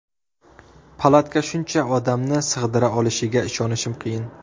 Palatka shuncha odamni sig‘dira olishiga ishonish qiyin.